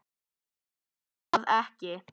En geri það ekki.